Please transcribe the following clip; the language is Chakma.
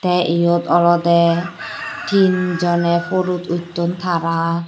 tey yot olodey tinjoney pudut utton tara.